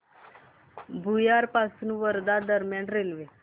भुयार पासून वर्धा दरम्यान रेल्वे